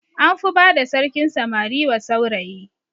An fi bada sarkin samari wa saurayi